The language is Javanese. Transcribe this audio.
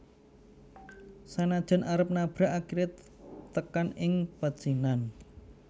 Sanajan arep nabrak akhire tekan ing pecinan